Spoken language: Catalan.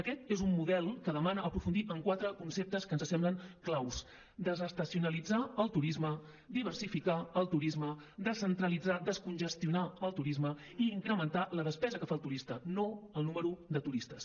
aquest és un model que demana aprofundir en quatre conceptes que ens semblen claus desestacionalitzar el turisme diversificar el turisme descentralitzar descongestionar el turisme i incrementar la despesa que fa el turista no el número de turistes